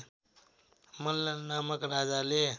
मल्ल नामक राजाले